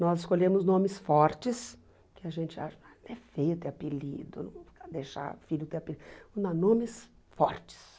Nós escolhemos nomes fortes, que a gente acha até feio ter apelido, nunca deixar filho ter apelido, mas nomes fortes.